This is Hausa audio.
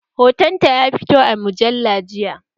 Hoton ta ya fito a mujalla jiya